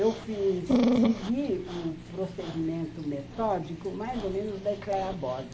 Eu fiz, segui o procedimento metódico mais ou menos da Ecléa Bosi.